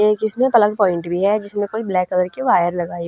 एक इसम्ह plug point भी ह जिसम्ह कोई ब्लैक कलर की वायर लगाई --